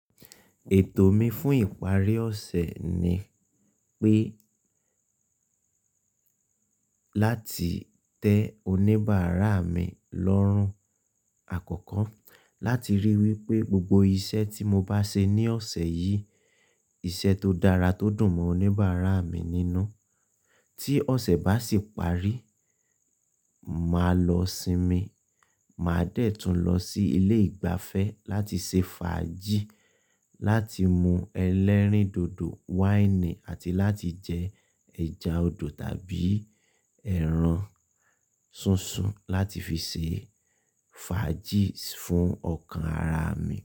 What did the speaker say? Ètò mi fún ìparí ọ̀sẹ̀ ni pé láti tẹ oníbàárà mi lọ́rùn. Àkọ́kọ́ láti ríi wípé gbogbo iṣẹ́ tí mo bá ṣe ní ọ̀sẹ̀ yìí, iṣẹ́ tó dára tó dùn mọ́ oníbàárà mi nínú. Tí ọ̀sẹ̀ bá sì parí, màá lọ sinmi, màá dẹ̀ tún lọ sí ilé ìgbafẹ́ láti ṣe fàájì, láti mú ẹlẹ́rìndòdò wáìnì àti láti jẹ ẹja odò tàbí ẹran ṣunṣun láti fi ṣe fàájì fún ọkàn àrà mi.